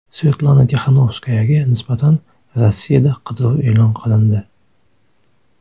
Svetlana Tixanovskayaga nisbatan Rossiyada qidiruv e’lon qilindi.